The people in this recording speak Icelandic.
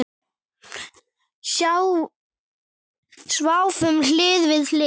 Sváfum hlið við hlið.